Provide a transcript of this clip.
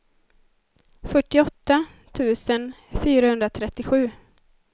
fyrtioåtta tusen fyrahundratrettiosju